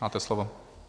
Máte slovo.